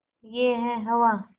यह है हवा